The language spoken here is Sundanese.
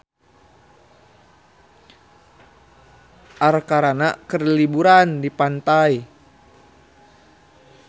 Arkarna keur liburan di pantai